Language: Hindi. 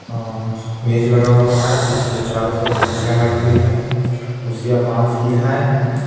अअह मेज लगा हुआ है जिसके चारों तरफ कुर्सियां लगी हुई है कुर्सियां बांस कील है ।